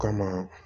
Kama